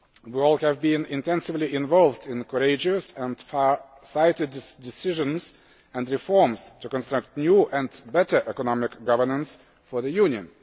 We have all been intensely involved in courageous and far sighted decisions and reforms to construct new and better economic governance for the Union.